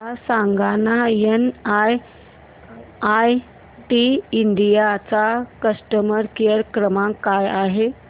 मला सांगाना NIIT India चा कस्टमर केअर क्रमांक काय आहे